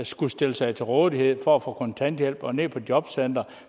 skulle stille sig til rådighed for at få kontanthjælp og altså ned på jobcenteret og